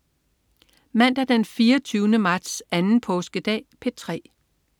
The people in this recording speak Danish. Mandag den 24. marts. Anden påskedag - P3: